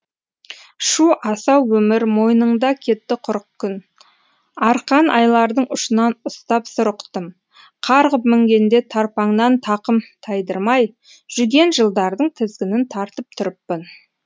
шу асау өмір мойныңда кетті құрық күн арқан айлардың ұшынан ұстап сыр ұқтым қарғып мінгенде тарпаңнан тақым тайдырмай жүген жылдардың тізгінін тартып тұрыппын